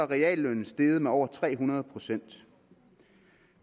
reallønnen steget med over tre hundrede procent